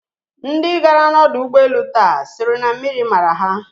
Ndi gara n'ọdọ ụgbọelu taa sịrị na mmiri mara ha.